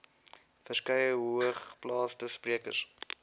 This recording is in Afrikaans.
verskeie hoogeplaasde sprekers